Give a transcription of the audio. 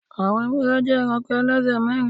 Àwọn ewúrẹ jẹ́ eranko ẹlẹ́sẹ̀ mẹ́rin